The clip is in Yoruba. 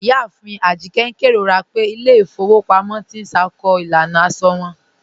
Iyáàfin Ajíkẹ̀ n kẹrọra pẹ̀ ilẹ̀ ifòwò pàmọ̀ tì n ṣákó ilànà àṣọ wọn.